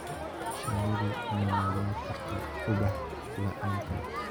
Shinnidu ma noolaan karto ubax laaanteed.